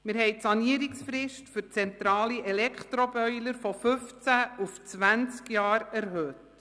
Die Sanierungsfrist für zentrale Elektroboiler haben wir von fünfzehn auf zwanzig Jahre erhöht.